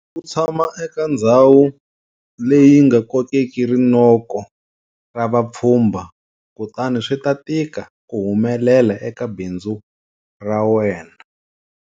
Loko u tshama eka ndhawu leyi nga kokeki rinoko ra vapfhumba, kutani swi ta tika ku humelela eka bindzu ra wena.